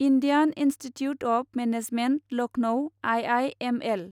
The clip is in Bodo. Indian Institute of Management Lucknow I I M L